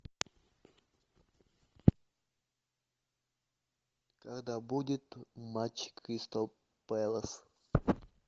когда будет матч кристал пэлас